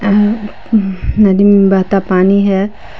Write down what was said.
नदी में बहता पानी है।